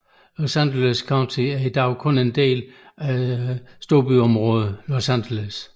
Los Angeles County er i dag kun én del af storbyområdet Los Angeles